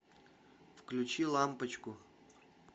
включи лампочку